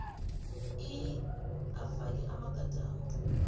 iii afake amagadango